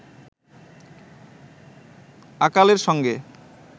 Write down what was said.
আকালের সঙ্গে